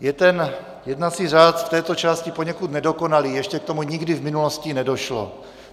Je ten jednací řád v této části poněkud nedokonalý, ještě k tomu nikdy v minulosti nedošlo.